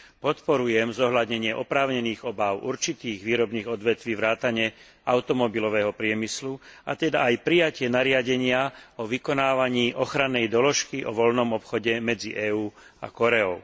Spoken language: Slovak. Podporujem zohľadnenie oprávnených obáv určitých výrobných odvetví vrátane automobilového priemyslu, a teda aj prijatie nariadenia o vykonávaní ochrannej doložky o voľnom obchode medzi EÚ a Kóreou.